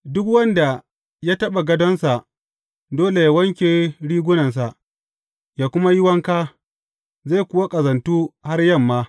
Duk wanda ya taɓa gadonsa dole yă wanke rigunansa, yă kuma yi wanka, zai kuwa ƙazantu har yamma.